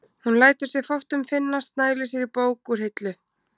Hún lætur sér fátt um finnast, nælir sér í bók úr hillu.